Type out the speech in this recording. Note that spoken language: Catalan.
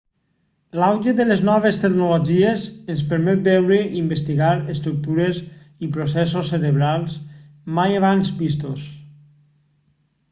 l'auge de les noves tecnologies ens permet veure i investigar estructures i processos cerebrals mai abans vistos